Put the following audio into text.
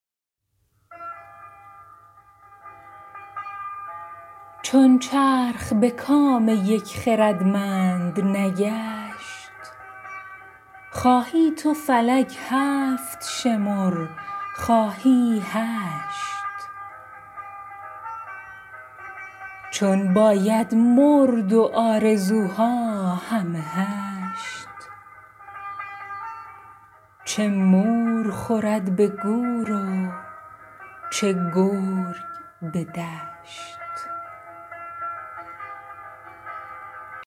چون چرخ به کام یک خردمند نگشت خواهی تو فلک هفت شمر خواهی هشت چون باید مرد و آرزوها همه هشت چه مور خورد به گور و چه گرگ به دشت